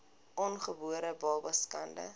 ongebore babas skade